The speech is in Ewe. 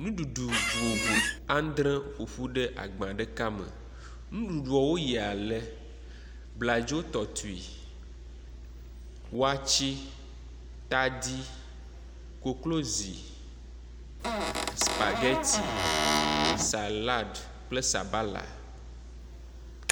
ŋuɖuɖu vovovo andre ƒoƒu ɖe agba ɖeka me ŋuɖuɖuɔwo yi ale, bladzo tɔtui wɔtsi tadi koklozi spagɛti salad kple sabala